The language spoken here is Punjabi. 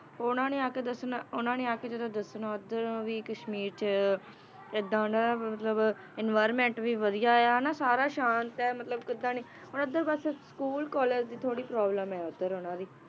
ਉਹਨਾਂ ਨੇ ਆ ਕੇ ਦੱਸਣਾ, ਉਹਨਾਂ ਨੇ ਆ ਕੇ ਜਦੋਂ ਦੱਸਣਾ ਉੱਧਰੋਂ ਵੀ ਕਸ਼ਮੀਰ 'ਚ ਏਦਾਂ ਹੁਣ ਮਤਲਬ environment ਵੀ ਵਧੀਆ ਆ ਨਾ ਸਾਰਾ ਸ਼ਾਂਤ ਹੈ ਮਤਲਬ ਕਿੱਦਾਂ ਨੀ ਹੁਣ ਉੱਧਰ ਬਸ school college ਦੀ ਥੋੜ੍ਹੀ problem ਹੈ ਉੱਧਰ ਉਹਨਾਂ ਦੀ